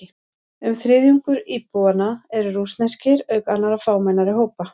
Um þriðjungur íbúanna eru rússneskir, auk annarra fámennari hópa.